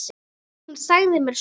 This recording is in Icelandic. Hún sagði mér sögur.